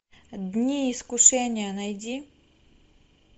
дни искушения найди